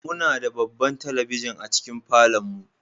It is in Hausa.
Muna da babban talabijin a cikin falon mu.